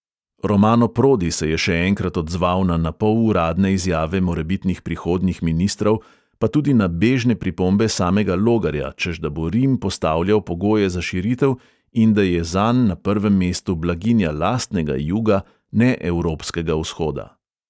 Romano prodi se je še enkrat odzval na napol uradne izjave morebitnih prihodnjih ministrov, pa tudi na bežne pripombe samega logarja, češ da bo rim postavljal pogoje za širitev in da je zanj na prvem mestu blaginja lastnega juga, ne evropskega vzhoda.